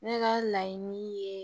Ne ka laɲini ye